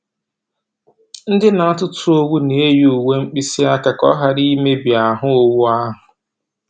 Ndị na-atụtụ owu na-eyi uwe mkpịsị aka ka ha ghara i mebi ahụ́ owu ahụ̀.